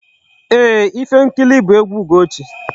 Ee, Ifenkili bụ egwu Ugochi.